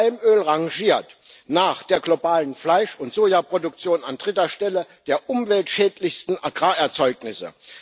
Palmöl rangiert nach der globalen Fleisch und Sojaproduktion an dritter Stelle der umweltschädlichsten Agrarerzeugnisse.